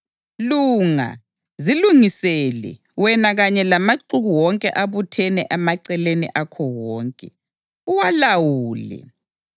Lunga; zilungisele, wena kanye lamaxuku wonke abuthene emaceleni akho wonke, uwalawule.